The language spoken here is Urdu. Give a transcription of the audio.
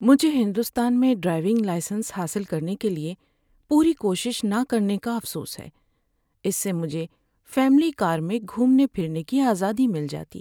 مجھے ہندوستان میں ڈرائیونگ لائسنس حاصل کرنے کے لیے پوری کوشش نہ کرنے کا افسوس ہے۔ اس سے مجھے فیملی کار میں گھومنے پھرنے کی آزادی مل جاتی۔